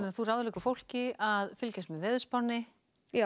þú ráðleggur fólki að fylgjast með veðurspánni já